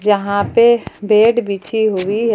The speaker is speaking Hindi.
यहां पे बेड बिछी हुई है।